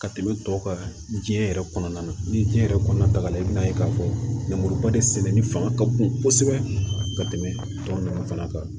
Ka tɛmɛ tɔ kan jiɲɛ yɛrɛ kɔnɔna na ni diɲɛ yɛrɛ kɔnɔna taga la i bɛ n'a ye k'a fɔ lemuruba de sɛnɛni fanga ka bon kosɛbɛ ka tɛmɛ a tɔn fana kan